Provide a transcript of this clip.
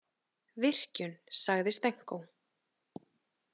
„Virkjun“ sagði Stenko.